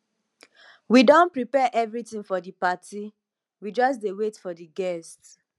we don prepare everything for the party we just dey wait for the guests